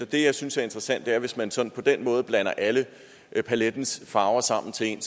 det jeg synes er interessant at hvis man sådan på den måde blander alle palettens farver sammen til én